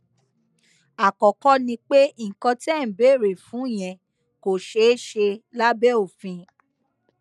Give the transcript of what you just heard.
àkọkọ ni pé nǹkan tẹ ẹ ń béèrè fún yẹn kò ṣeé ṣe lábẹ òfin